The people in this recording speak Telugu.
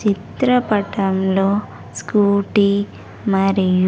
చిత్రపటంలో స్కూటీ మరియు.